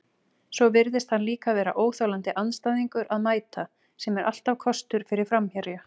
Svo virðist hann líka vera óþolandi andstæðingur að mæta, sem er alltaf kostur fyrir framherja.